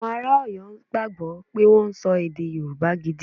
Awon ara Oyo gbagbo pe won so ede yoruba gidi.